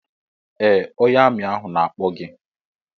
Ee ónyé armi ahụ na-akpọ gị.